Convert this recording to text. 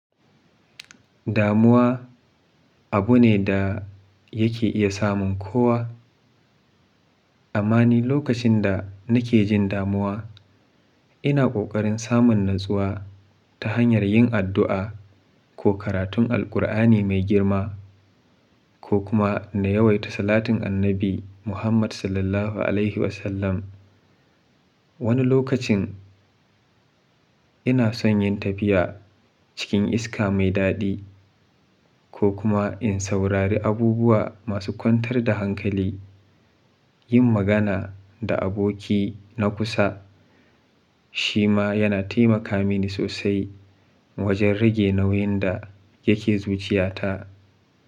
Damuwa abu ne da yake iya samun kowa. Amma ni lokacin da nake jin damuwa, ina kokarin samun natsuwa ta hanyar yin addu'a ko karatun Alqur'ani mai girma ko kuma na yawaita salatin Annabi Muhammad SAW. Wani lokacin ina son yin tafiya cikin iska mai daɗi ko kuma in saurari abubuwa masu kwantar da hankali. Yin magana da aboki na kusa shi ma yana taimaka mini sosai wajen rage nauyin da yake zuciyata.